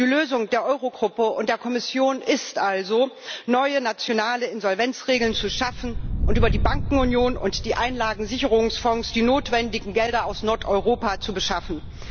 Die Lösung der Eurogruppe und der Kommission ist also, neue nationale Insolvenzregeln zu schaffen und über die Bankenunion und die Einlagensicherungsfonds die notwendigen Gelder aus Nordeuropa zu beschaffen.